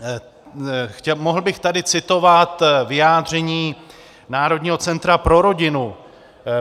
Mohl bych tady citovat vyjádření Národního centra pro rodinu.